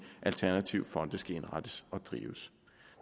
alternative fonde skal indrettes og drives